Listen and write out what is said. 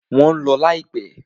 Wọ́n ń lọ láìpẹ́.